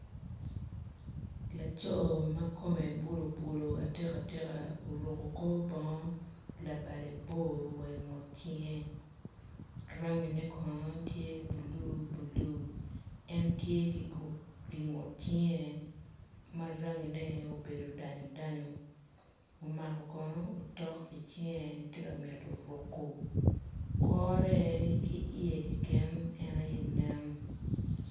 Laco ma kome bulubulu atikatika oruko kor bongo labade boe wa i ngut cinge rangine kono tye bulubulu en tye ki gingut cinge ma rangine obedo danyu danyu omako kono otok i cinge tye ka mito ruko kore ki iye keken aye nen.